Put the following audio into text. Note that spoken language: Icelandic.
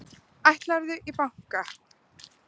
Ætlarðu í bankann?